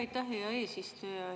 Aitäh, hea eesistuja!